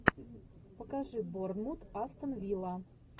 покажи борнмут астон вилла